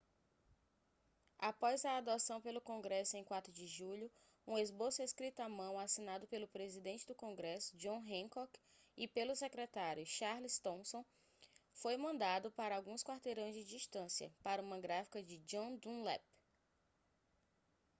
após a adoção pelo congresso em 4 de julho um esboço escrito à mão assinado pelo presidente do congresso john hancock e pelo secretário charles thomson foi mandado para alguns quarteirões de distância para uma gráfica de john dunlap